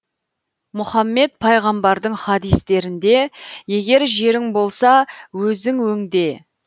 мұхаммед пайғамбардың хадистерінде егер жерің болса өзің өңде